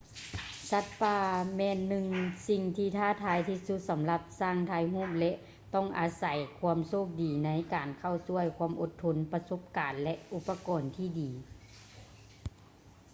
ສັດປ່າແມ່ນໜຶ່ງສິ່ງທີ່ທ້າທາຍທີ່ສຸດສຳລັບຊ່າງຖ່າຍຮູບ ແລະ ຕ້ອງອາໃສຄວາມໂຊກດີໃນການເຂົ້າຊ່ວຍ ຄວາມອົດທົນ ປະສົບການ ແລະ ອຸປະກອນທີ່ດີ